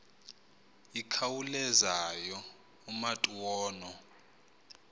ikhawulezayo umatu ono